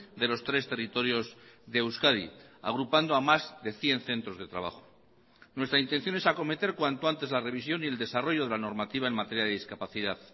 de los tres territorios de euskadi agrupando a más de cien centros de trabajo nuestra intención es acometer cuanto antes la revisión y el desarrollo de la normativa en materia de discapacidad